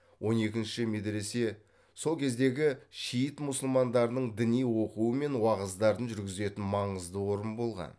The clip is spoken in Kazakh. он екінші медіресе сол кездегі шиит мұсылмандарының діни оқуы мен уағыздарын жүргізетін маңызды орын болған